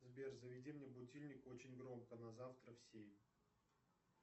сбер заведи мне будильник очень громко на завтра в семь